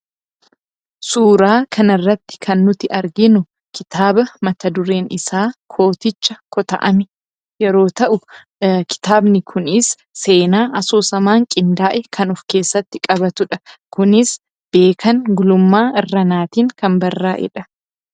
Suuraa kanarratti kan nuti arginu kitaaba mata dureen isaa "KOOTICHA KOTA'AME!" Yeroo ta'u kitaabni kunis seenaa asoosamaan qindaa'e kan of keessatti qabatudha. Kunis Beekan Gulummaa Irranaatiin kan barraa'edha.